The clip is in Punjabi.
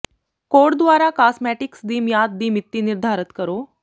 ਕੋਡ ਦੁਆਰਾ ਕਾਸਮੈਟਿਕਸ ਦੀ ਮਿਆਦ ਦੀ ਮਿਤੀ ਨਿਰਧਾਰਤ ਕਰੋ